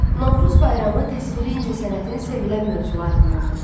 Novruz bayramı təsviri incəsənətin sevilən mövzularındandır.